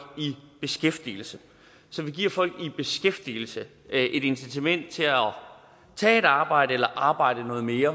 i beskæftigelse så vi giver folk i beskæftigelse et incitament til at tage et arbejde eller arbejde noget mere